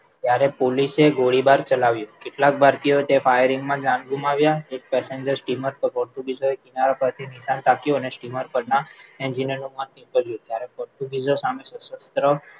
ત્યારે પોલીસે ગોળીબાર ચલાવ્યો કેટલાક ભારતીયો તેમાં જાન ગુમાવ્યા એક passenger steamer પર પોર્ટિંગિઝોએ કિનારા પરથી નિશાન તાક્યું અને steamer પરના engineer માથું ત્યારે પોર્ટુગીઝો સામે સશસ્ત્ર